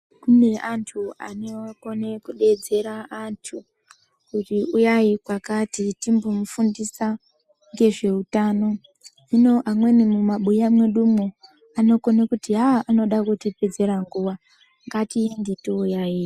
Kune antu ane kudedzera antu kuti uyai kwakati timbomufundisa ngezveutano hino amweni mumabuya mwedumwo anokone kuti anoda kutipedzera nguwa, ngatiende toyaiya.